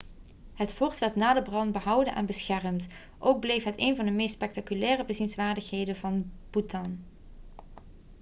het fort werd na de brand behouden en beschermd ook bleef het een van de meest spectaculaire bezienswaardigheden van bhutan